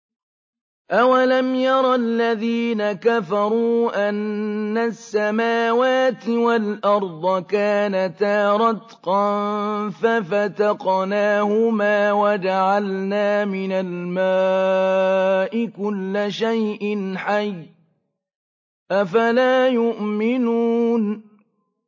أَوَلَمْ يَرَ الَّذِينَ كَفَرُوا أَنَّ السَّمَاوَاتِ وَالْأَرْضَ كَانَتَا رَتْقًا فَفَتَقْنَاهُمَا ۖ وَجَعَلْنَا مِنَ الْمَاءِ كُلَّ شَيْءٍ حَيٍّ ۖ أَفَلَا يُؤْمِنُونَ